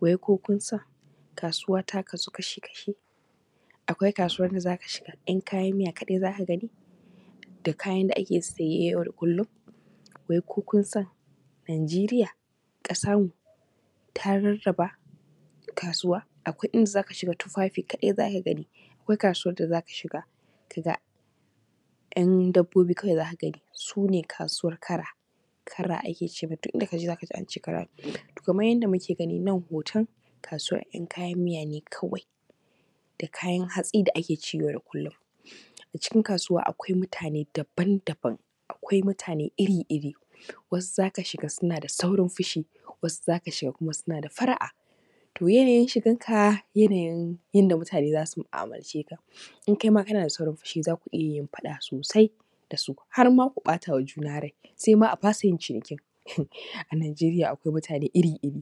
Wai ko kunsan kasuwa ta kasu kashi-kashi akwai kasuwar da za ka shiga ‘yan kayan miya kaɗai za ka gani da kayan da ake saye yau da kullum, wani ko kun san Nijeriya ƙasar mu ta raraba kasuwa. Akwai inda za ka shiga tufafi kaɗai zaka gani, akwai kasuwar da za ka shiga kaga ‘yan dabobi kawai za ka gani su ne kasuwar kara, kara ake ce musu duk inda ka je za ka ji an ce kara kenan kamar yadda muke gani nan hoton kasuwar ‘yan kayan miya ne kawai da kayan hatsi da ake ci yau da kullum. A cikin kasuwa akwai mutane daban-daban akwai mutane iri-iri wasu za ka shiga suna da saurin fushi, wasu za ka shiga kuma suna da fara’a to yanayin shigan ka yanayin yanda mutane za su mu’amalar ce ka in kaima kana da saurin fushi za ku iya yin faɗa sosai da su, har ma ku ɓata ma juna rai har ma a fasa yin cinikin. A Nijeriya akwai mutane iri-iri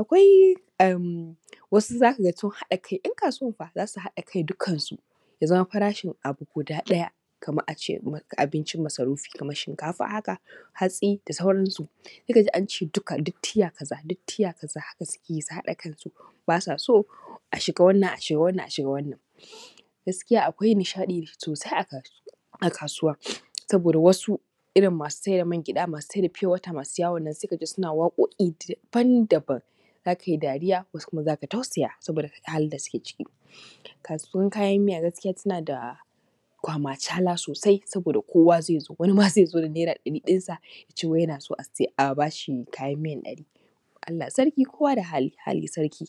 akwai wasu za ka ga sun haɗa kai ‘yan kasuwan fa sun haɗa kai dukkansu ya zama farashin abu ɗaya kamar a ce abincin masarufi, kamar shinkafa haka hatsi da sauransu za ka ji an ce duka duk tiya kaza duk tiya kaza haka suke yi su haɗa kansu ba sa so a shiga wannan, a shiga wannan gaskiya akwai nishaɗi sosai a kasuwa saboda wasu irin masu saida mangyaɗa, masu saida fiyo wata, masu yawon nan suna waƙoƙi daban-daban za ka yi dariya wasu kuma za ka tausaya saboda halin da suke ciki. Kasuwan kayan miya gaskiya suna da kwamacala sosai saboda kowa zai zo wani ma zai zo da naira ɗarin sa ya ce yana so a bashi kayan miya ɗari Allah sarki kowa da hali sarki.